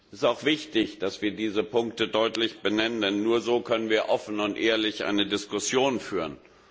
Es ist auch wichtig, dass wir diese Punkte deutlich benennen, denn nur so können wir offen und ehrlich eine Diskussion führen.